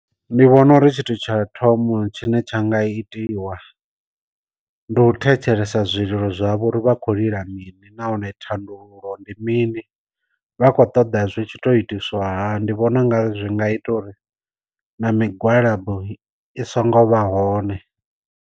Ndi vhona uri tshithu tsha thoma tshine tsha nga itiwa, ndi u thetshelesa zwililo zwavho uri vha khou lila mini nahone thandululo ndi mini vha kho ṱoḓa zwi tshi to itiswa hani, ndi vhona unga zwi nga ita uri na migwalabo i songo vha hone.